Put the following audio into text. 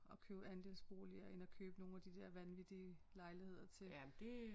At købe andelsboliger end at købe nogle af de dér vanvittige lejligheder til